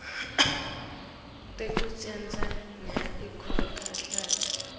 tekucedza nya inkhohlakalo